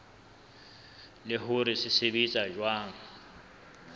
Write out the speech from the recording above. le hore se sebetsa jwang